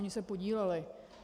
Ony se podílely.